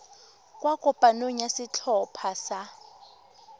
kwa kopanong ya setlhopha sa